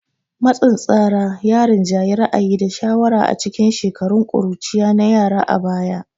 Matsin tsara ya rinjayi ra'ayi da shawara a cikin shekarun ƙuruciya na yara a baya